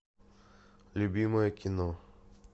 любимое кино